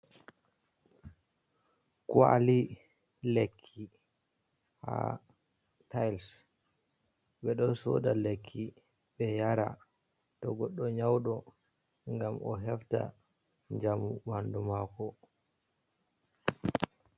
Kwali lekki haa tayls. Ɓe ɗo sooda lekki ɓe yara, to goɗɗo nyawɗo ngam o hefta jamu ɓandu maako.